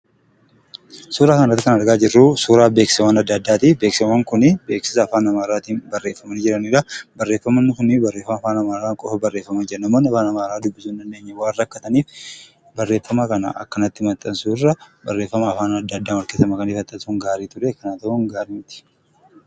Suuraa kana irratti kan argaa jirru suuraa beeksisawwan adda addaati. Beeksisawwan kuni beeksisa Afaan Amaaraatiin barreffamanii jiraniidha. Barreeffamoonni kunneen barreeffamoota Afaan Amaaraatiin qofa barreeffamanii jiranidha. Namoonni Afaan Amaaraa hindubbisne waan rakkataniif barreeffama kana akkasitti maxxansuurra afaan adda addaan walkeessa makanii osoo maxxansanii gaarii ture. Akkana ta'uun gaarii miti.